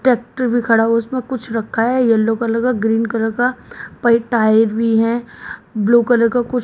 tractor भी खड़ा हुआ है उसमें कुछ रखा है येलो कलर का ग्रीन कलर का पाइप टायर भी है ब्लू कलर का कुछ--